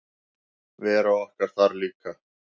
Vera okkar þar líka.